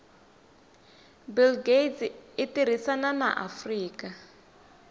bill gates itirisana na afrika